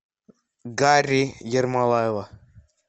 гарри ермолаева